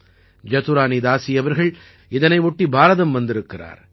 ஜதுரானீதாசீ அவர்கள் இதனை ஒட்டி பாரதம் வந்திருக்கிறார்